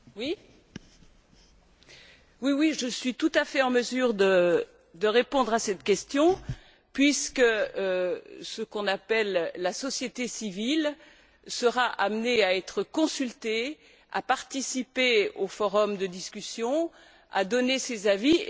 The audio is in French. Monsieur le Président, je suis tout à fait en mesure de répondre à cette question puisque ce qu'on appelle la société civile sera amenée à être consultée, à participer au forum de discussion et à donner ses avis.